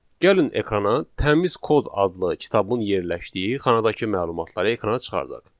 Gəlin ekrana təmiz kod adlı kitabın yerləşdiyi xanadakı məlumatları ekrana çıxardaq.